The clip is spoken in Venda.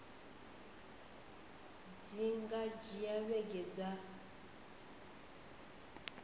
dzi nga dzhia vhege dza